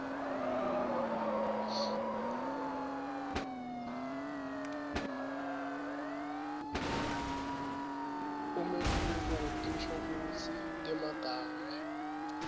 umehluko wetinshokutsi temagama